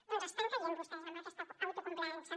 doncs estan caient vostès en aquesta autocomplaença